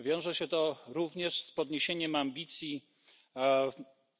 Wiąże się to również z podniesieniem ambicji